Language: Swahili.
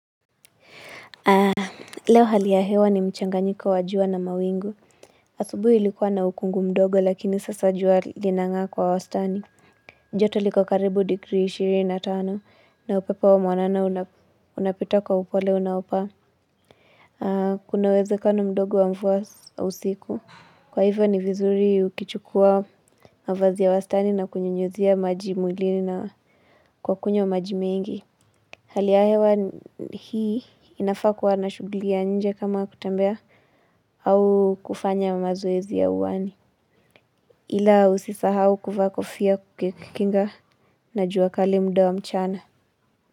Leo hali ya hewa ni mchanganyiko wajua na mawingu. Asubui ilikua na ukungu mdogo lakini sasa jua linang'aa kwa wastani. Joto liko karibu degree 25 na upepo wa mwanana una unapita kwa upole unaofaa. Kuna uwezekano mdogo wa mvua usiku. Kwa hivyo ni vizuri ukichukua mavazi ya wastani na kunyunyuzia maji mwilini na kwa kunywa maji mengi. Hali ya hewa hii inafaa kuwa na shughuli ya nje kama kutembea au kufanya mazoezi ya uwani. Ila usisahau kuvaa kofia kukinga na juakali mda wa mchana.